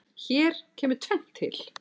Hér kemur tvennt til.